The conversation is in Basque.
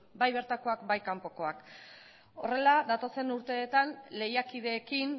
bai bertakoak bai kanpokoak horrela datozen urteetan lehiakideekin